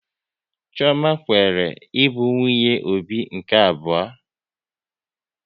Chioma kweere ịbụ nwunye Obi nke abụọ